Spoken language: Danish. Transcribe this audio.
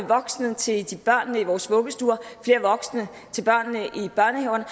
voksne til børnene i vores vuggestuer flere voksne til børnene i børnehaverne